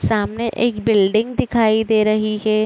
सामने एक बिल्डिंग दिखाई दे रही है।